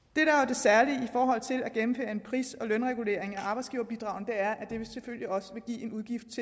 særlige i forhold til at gennemføre en pris og lønregulering af arbejdsgiverbidragene er at det selvfølgelig også vil give en udgift